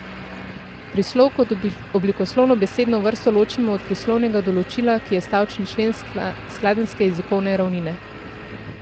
Prislov kot oblikoslovno besedno vrsto ločimo od prislovnega določila, ki je stavčni člen skladenjske jezikovne ravnine.